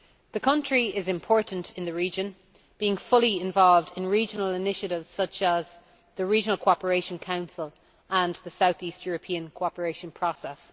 The country is important in the region, being fully involved in regional initiatives such as the Regional Cooperation Council and the South East European Cooperation Process.